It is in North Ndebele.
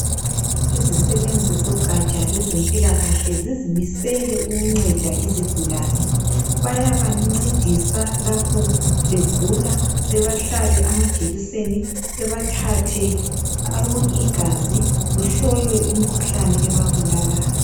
Izisebenzi zogatsha lwezempilakahle zizimisele ukunceda izigulane. Bayabancedisa lapho begula bebahlabe amajekiseni bebathathe igazi kuhlolwe imikhuhlane ebabulalayo.